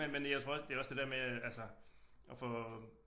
Men men jeg tror også det også det der med altså at få